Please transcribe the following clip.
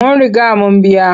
Mun riga mun biya.